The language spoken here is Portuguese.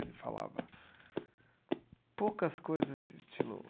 Ele falava poucas coisas estilo.